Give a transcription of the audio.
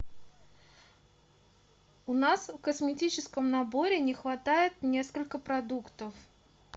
у нас в косметическом наборе не хватает несколько продуктов